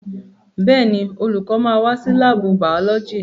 Bẹ́ẹ̀ni, olùkọ́ máa wá sí láàbù bàọ́lọ́jì